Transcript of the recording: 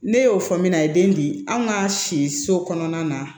Ne y'o fɔ min na a ye den di anw ka si so kɔnɔna na